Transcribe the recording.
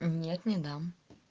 нет не дам